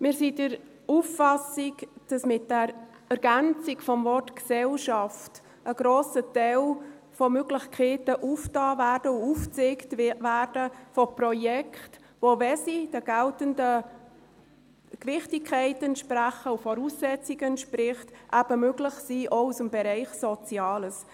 Wir sind der Auffassung, dass mit der Ergänzung um das Wort «Gesellschaft» ein grosser Teil von Möglichkeiten eröffnet und aufgezeigt wird, von Projekten, die, wenn sie der geltenden Gewichtigkeit und Voraussetzungen entsprechen, eben möglich sind, auch im Bereich Soziales.